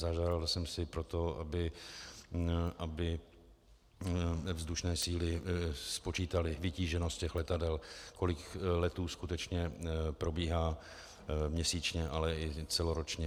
Zažádal jsem si proto, aby vzdušné síly spočítaly vytíženost těch letadel, kolik letů skutečně probíhá měsíčně, ale i celoročně.